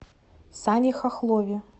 сане хохлове